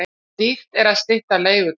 Dýrt að stytta leigutímann